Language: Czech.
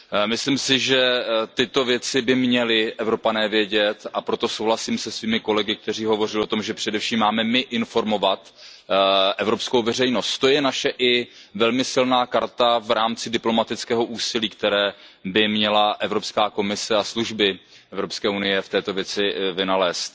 Myslím si, že tyto věci by měli Evropané vědět, a proto souhlasím se svými kolegy, kteří hovořili o tom, že především máme my informovat evropskou veřejnost, to je naše i velmi silná karta v rámci diplomatického úsilí, které by měla Evropská komise a služby EU v této věci vynaložit.